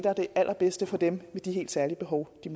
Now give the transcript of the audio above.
er det allerbedste for dem med de helt særlige behov de